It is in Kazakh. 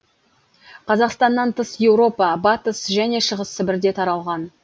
қазақстаннан тыс еуропа батыс және шығыс сібірде таралған